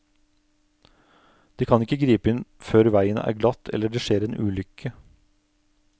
De kan ikke gripe inn før veien er glatt eller det skjer en ulykke.